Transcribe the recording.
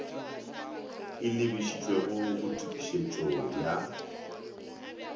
e lebišitšwego go tokišetšo ya